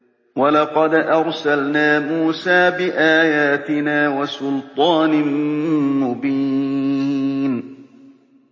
وَلَقَدْ أَرْسَلْنَا مُوسَىٰ بِآيَاتِنَا وَسُلْطَانٍ مُّبِينٍ